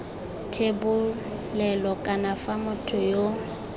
thebolelo kana fa motho yo